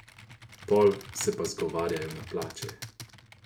Pol se pa zgovarjajo na plače.